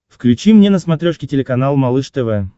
включи мне на смотрешке телеканал малыш тв